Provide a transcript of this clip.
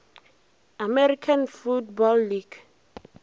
american football league